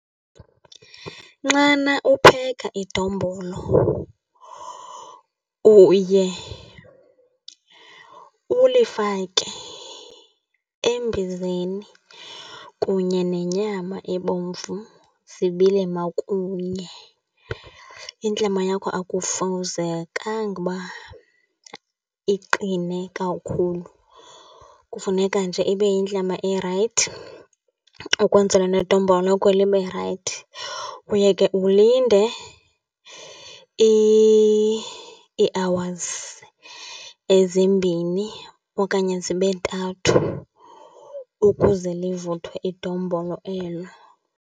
Nxana upheka idombolo uye ulifake embizeni kunye nenyama ebomvu zibile makunye. Intlama yakho akufuzekanga uba iqine kakhulu, kufuneka nje ibe yintlama erayithi ukwenzela nedombolo lakho libe rayithi. Uye ke ulinde ii-hours ezimbini okanye zibe ntathu ukuze livuthiwe idombolo elo.